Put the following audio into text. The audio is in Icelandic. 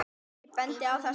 Ég bendi á þessi